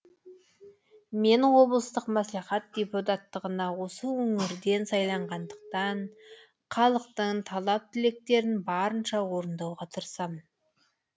мен облыстық мәслихат депутаттығына осы өңірден сайланғандықтан халықтың талап тілектерін барынша орындауға тырысамын